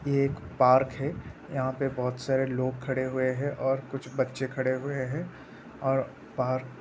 ये एक पार्क हैं। यहाँ पर बहोत सारे लोग खड़े हुए हैं और कुछ बच्चे खड़े हुए हैं और पार्क --